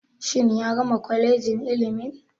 Shin ya gama kwalejin ilimin.